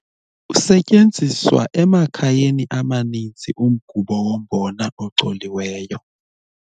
Usetyenziswa emakhayeni amaninzi umgubo wombona ocoliweyo.